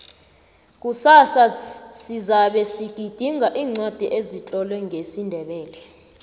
kusasa sizabe sigidinga iincwadi ezitlolwe ngesindebele